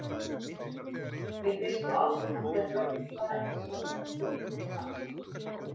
Mér finnst svo áberandi að börnin fara eins að öllum hlutum og maður sjálfur.